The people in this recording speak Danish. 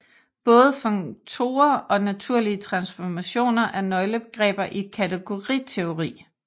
Både funktorer og naturlige transformationer er nøglebegreber i kategoriteori